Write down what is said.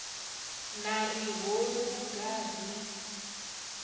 na ri ho luga ri